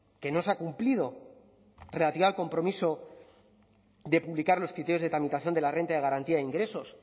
que no se ha cumplido relativa al compromiso que publicar los criterios de tramitación de la renta de garantía de ingresos